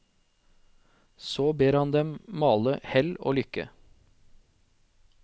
Så ber han dem male hell og lykke.